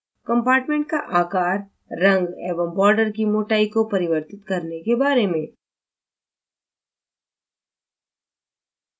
compartment का आकार रंग एवं border की मोटाई को परिवर्तित करने के बारे में